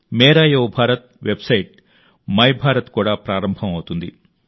మేరా యువ భారత్ వెబ్సైట్ మైభారత్ కూడా ప్రారంభం అవుతుంది